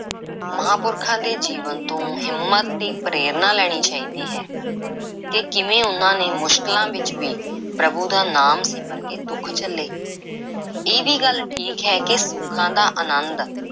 ਮਹਾਂਪੁਰਖਾਂ ਦੇ ਜੀਵਨ ਤੋਂ ਹਿੰਮਤ ਤੇ ਪ੍ਰੇਰਨਾ ਲੈਣੀ ਚਾਹੀਦੀ ਹੈ ਕਿ ਕਿਵੇਂ ਉਹਨਾਂ ਨੇ ਮੁਸ਼ਕਿਲਾਂ ਵਿੱਚ ਵੀ ਪ੍ਰਭੂ ਦਾ ਨਾਮ ਸਿਮਰ ਕੇ ਦੁੱਖ ਝੱਲੇ। ਇਹ ਵੀ ਗੱਲ ਠੀਕ ਹੈ ਕਿ ਸੁੱਖਾਂ ਦਾ ਆਨੰਦ